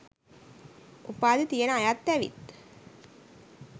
උපාධි තියන අයත් ඇවිත්